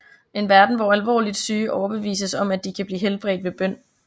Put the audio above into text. En verden hvor alvorligt syge overbevises om at de kan blive helbredt ved bøn